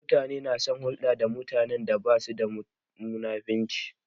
Mutane na son hulɗa da mutanen da basu da munafurci